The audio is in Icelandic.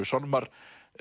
sálmar